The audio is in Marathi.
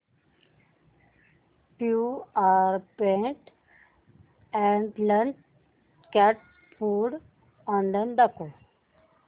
Purepet adult cat food online दाखव